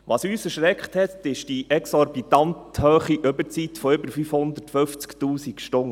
Was uns erschreckt hat, ist die exorbitant hohe Überzeit von über 550 000 Stunden.